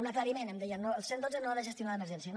un aclariment em deia el cent i dotze no ha de gestionar l’emergència